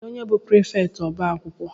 Kedụ onye bụ prịfèkt ọbá akwụkwọ?